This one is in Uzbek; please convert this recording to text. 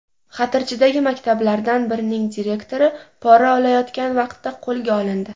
Xatirchidagi maktablardan birining direktori pora olayotgan vaqtda qo‘lga olindi.